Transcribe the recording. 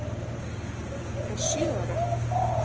Þó er ég bara sjö ára.